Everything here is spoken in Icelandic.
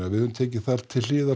við höfum tekið til hliðar